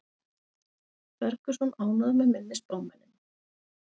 Ferguson ánægður með minni spámennina